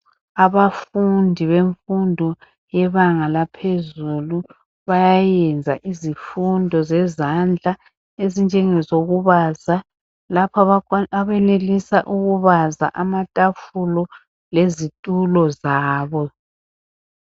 Abafundi befundo yezinga laphezulu bayenza izifundo zezandla ezinje ngokubavaza. Lapho abayenelisa ukubaza amathafula lezithulo zabo.